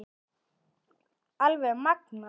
Alveg magnað!